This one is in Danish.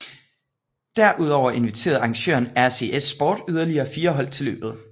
Derudover inviterede arrangøren RCS Sport yderlige fire hold til løbet